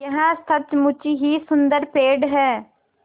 यह सचमुच ही सुन्दर पेड़ है